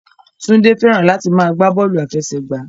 Túndé fẹ́ràn láti máa gbá bọ́ọ̀lù àfẹsẹ̀gbá